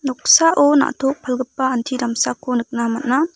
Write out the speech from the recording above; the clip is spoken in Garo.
noksao na·tok palgipa anti damsako nikna man·a.